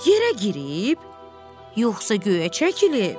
Yerə girib, yoxsa göyə çəkilib?